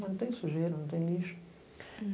Não tem sujeira, não tem lixo.